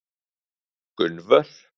Gunnvör